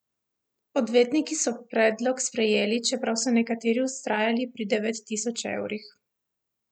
Odvetniki so predlog sprejeli, čeprav so nekateri vztrajali pri devet tisoč evrih.